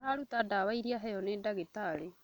Aratua ndawa ĩrĩa aheo nĩ ndagĩtarĩ